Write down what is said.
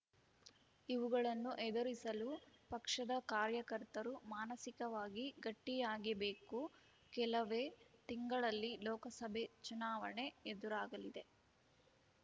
ಇವುಗಳನ್ನು ಎದುರಿಸಲು ಪಕ್ಷದ ಕಾರ್ಯಕರ್ತರು ಮಾನಸಿಕವಾಗಿ ಗಟ್ಟಿಯಾಗಿಬೇಕು ಕೆಲವೇ ತಿಂಗಳಲ್ಲಿ ಲೋಕಸಭೆ ಚುನಾವಣೆ ಎದುರಾಗಲಿದೆ